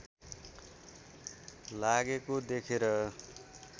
लागेको देखेर